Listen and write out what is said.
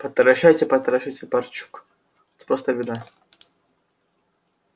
потращайте потращайте барчук просто беда